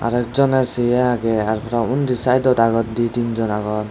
ekjone se aage aaro uni saidod agon di tinjon agon.